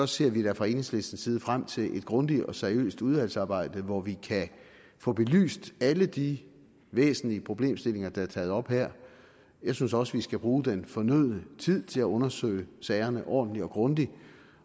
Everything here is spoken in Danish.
ser vi da fra enhedslistens side frem til et grundigt og seriøst udvalgsarbejde hvor vi kan få belyst alle de væsentlige problemstillinger der er taget op her jeg synes også at vi skal bruge den fornødne tid til at undersøge sagerne ordentligt og grundigt